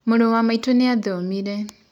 Mũrũ wa maitũ nĩathomĩre.